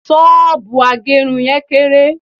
soobu agerun yen kere